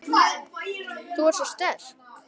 Þú ert svo sterk.